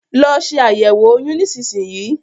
Lọ se àyẹ̀wo oyún nísinsìnyí